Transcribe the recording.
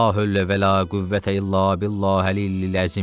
La hövlə və la qüvvətə illa billahi əlilizəm.